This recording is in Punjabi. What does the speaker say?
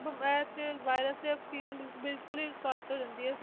ਇਹ 'ਚ virus 'ਚ ਆਕਸੀਜਨ ਬਿਲਕੁਲ ਹੀ ਘੱਟ ਹੋ ਜਾਂਦੀ ਹੈ,